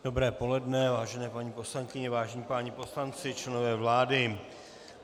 Dobré poledne, vážené paní poslankyně, vážení páni poslanci, členové vlády.